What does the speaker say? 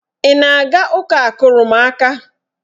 Ị na-aga ụka akụrụmaka?